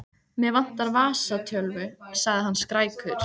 Mig vantar vasatölvu, sagði hann skrækur.